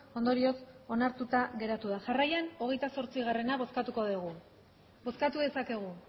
ondorioz onartuta geratu da jarraian hogeita zazpigarrena bozkatuko dugu bozkatu dezakegu